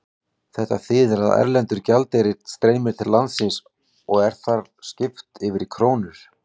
Þetta þýðir að erlendur gjaldeyrir streymir til landsins og er þar skipt yfir í krónur.